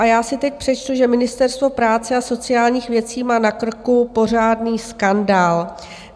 A já si teď přečtu, že Ministerstvo práce a sociálních věcí má na krku pořádný skandál.